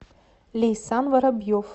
лейсан воробьев